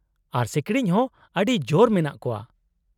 -ᱟᱨ ᱥᱤᱠᱲᱤᱡᱽ ᱦᱚᱸ ᱟᱹᱰᱤ ᱡᱳᱨ ᱢᱮᱱᱟᱜ ᱠᱚᱣᱟ ᱾